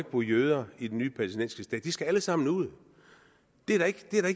bo jøder i den nye palæstinensiske stat de skal alle sammen ud det er da ikke